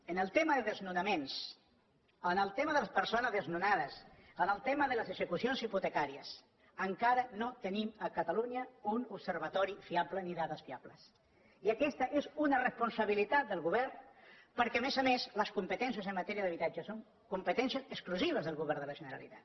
en el tema de desnonaments en el tema de les persones desnonades en el tema de les execucions hipotecàries encara no tenim a catalunya un observatori fiable ni dades fiables i aquesta és una responsabilitat del govern perquè a més a més les competències en matèria d’habitatges són competències exclusives del govern de la generalitat